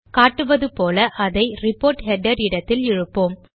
காட்டுவது போல அதை ரிப்போர்ட் ஹெடர் இடத்தில் இழுப்போம்